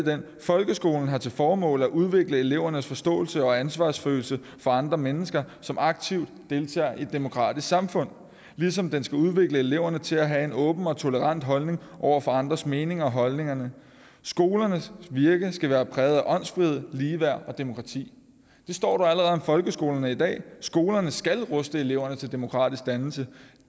folkeskolen har til formål at udvikle elevernes forståelse og ansvarsfølelse for andre mennesker som aktivt deltager i et demokratisk samfund ligesom den skal udvikle eleverne til at have en åben og tolerant holdning over for andres meninger og holdninger skolernes virke skal være præget af åndsfrihed ligeværd og demokrati det står der allerede om folkeskolerne i dag skolerne skal ruste eleverne til demokratisk dannelse